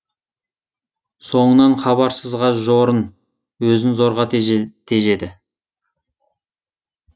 соңынан хабарсызға жорын өзін зорға тежеді